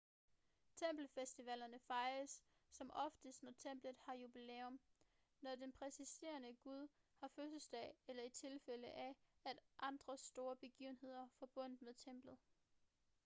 tempelfestivalerne fejres som oftest når templet har jubilæum når den præsiderende gud har fødselsdag eller i tilfælde af andre større begivenheder forbundet med templet